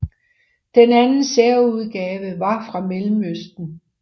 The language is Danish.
Den anden særudgave var fra Mellemøsten